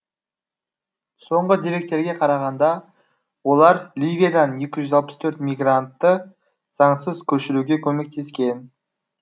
соңғы деректерге қарағанда олар ливиядан екі жүз алпыс төрт мигрантты заңсыз көшіруге көмектескен